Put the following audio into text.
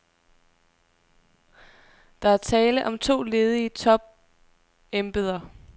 Der er tale om to ledige topembeder.